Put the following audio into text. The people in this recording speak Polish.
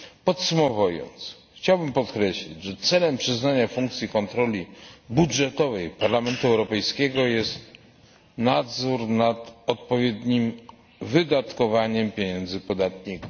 Podsumowując, chciałbym jeszcze raz podkreślić, że celem przyznania funkcji kontroli budżetowej Parlamentowi Europejskiemu jest nadzór nad odpowiednim wydatkowaniem pieniędzy podatników.